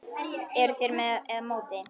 Eruð þér með eða móti?